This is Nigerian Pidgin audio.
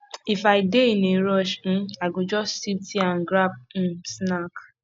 if i dey in a rush um i go just sip tea and grab um snack